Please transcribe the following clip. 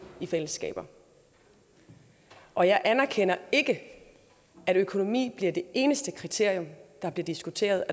i fællesskaber og jeg anerkender ikke at økonomi er det eneste kriterium der bliver diskuteret